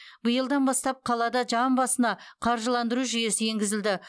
биылдан бастап қалада жан басына қаржыландыру жүйесі енгізілді